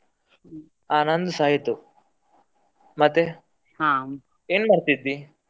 ಹಾ, ನಂದುಸ ಆಯ್ತು ಮತ್ತೆ ಏನ್ ಮಾಡ್ತಿದ್ದಿ?